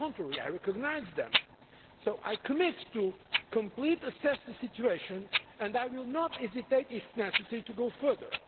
On the contrary, I recognise them. I am committed to completely assessing the situation and I will not hesitate, if necessary, to go further.